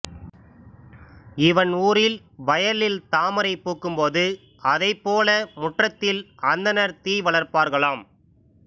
இவன் ஊரில் வயலில் தாமரை பூக்கும்போது அதைப் போல முற்றத்தில் அந்தணர் தீ வளர்ப்பார்களாம்